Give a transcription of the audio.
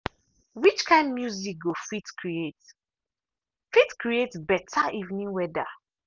which kind of music go fit create fit create beta evening weather.